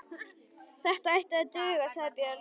Þetta ætti að duga, sagði Björn.